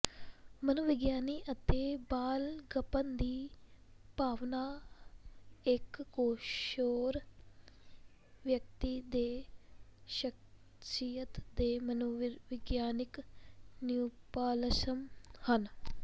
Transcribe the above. ਮਨੋਵਿਗਿਆਨੀ ਅਤੇ ਬਾਲਗਪਨ ਦੀ ਭਾਵਨਾ ਇੱਕ ਕਿਸ਼ੋਰ ਵਿਅਕਤੀ ਦੇ ਸ਼ਖਸੀਅਤ ਦੇ ਮਨੋਵਿਗਿਆਨਿਕ ਨਿਓਪਲਾਸਮ ਹਨ